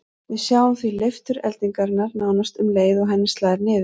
Við sjáum því leiftur eldingarinnar nánast um leið og henni slær niður.